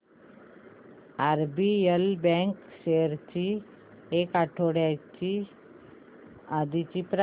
RBL bank shares ची एक आठवड्या आधीची प्राइस